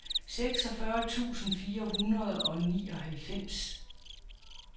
seksogfyrre tusind fire hundrede og nioghalvfems